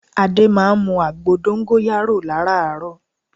Adé máa ń mu àgbo dóngóyárò láràárò